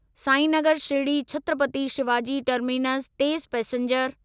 Sainagar Shirdi Chhatrapati Shivaji terminus तेज़ passenger